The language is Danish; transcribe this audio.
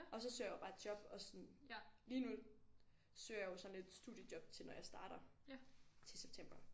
Og så søger jeg jo bare job og sådan lige nu søger jeg jo sådan et studiejob til når jeg starter til september